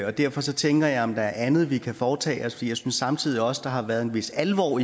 og derfor tænker jeg om der er andet vi kan foretage jeg synes samtidig også der har været en vis alvor